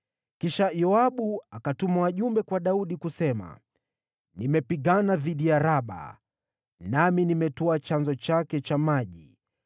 Kisha Yoabu akatuma wajumbe kwa Daudi, kusema, “Nimepigana dhidi ya Raba, nami nimetwaa chanzo chake cha maji.